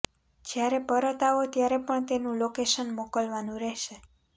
જ્યારે પરત આવો ત્યારે પણ તેનુ લોકેશન મોકલવાનુ રહેશે